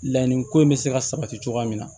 La ni ko in bɛ se ka sabati cogoya min na